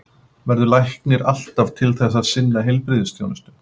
Verður læknir alltaf til þess að sinna heilbrigðisþjónustu?